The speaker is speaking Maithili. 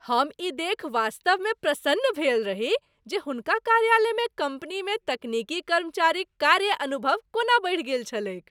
हम ई देखि वास्तवमे प्रसन्न भेल रही जे हुनका कार्यकालमे कम्पनीमे तकनीकी कर्मचारीक कार्य अनुभव कोना बढ़ि गेल छलैक।